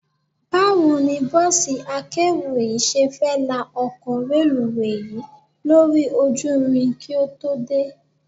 Báwo ni bọ́ọ̀sí akérò yìí ṣe fẹ́ la ọkọ̀ reluwé yìí lórí ojú irin kí ó tó dé?